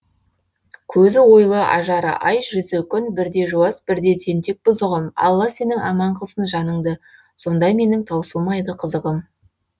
көзі ойлы ажары ай жүзі күн бірде жуас бірде тентек бұзығым алла сенің аман қылсын жаныңды сонда менің таусылмайды қызығым